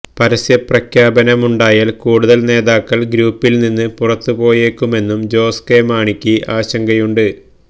പരസ്യപ്രഖ്യാപനമുണ്ടായാല് കൂടുതല് നേതാക്കള് ഗ്രൂപ്പില്നിന്ന് പുറത്തുപോയേക്കുമെന്നും ജോസ് കെ മാണിക്ക് ആശങ്കയുണ്ട്